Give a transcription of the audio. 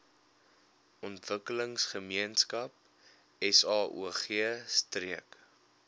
ontwikkelingsgemeenskap saog streek